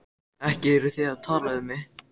Ekki eruð þið að tala um mig?